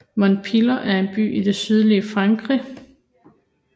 Montpellier er en by i det sydlige Frankrig